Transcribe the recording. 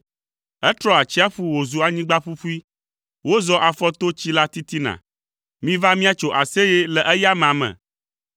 Etrɔ atsiaƒu wòzu anyigba ƒuƒui, wozɔ afɔ to tsi la titina; miva míatso aseye le eya amea me.